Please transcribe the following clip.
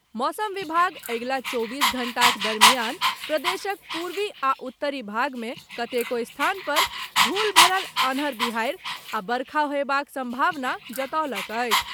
मौसम विभाग अगिला चौबीस घण्टाक दरमियान प्रदेशक पूर्वी आ उत्तरी भागमे कतेको स्थान पर धूल भरल अन्हर बिहाड़ि आ वर्षा होयबाक सम्भावना जतौलक अछि।